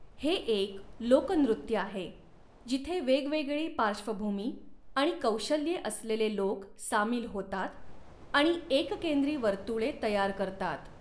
हे एक लोकनृत्य आहे, जिथे वेगवेगळी पार्श्वभूमी आणि कौशल्ये असलेले लोक सामील होतात आणि एककेंद्री वर्तुळे तयार करतात.